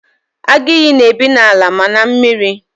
Agụ ìyì na-ebi n'ala ma na mmiri.